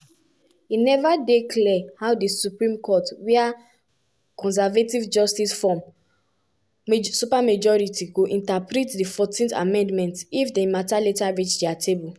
trump justice department don argue say di citizenship issue only apply to permanent residents.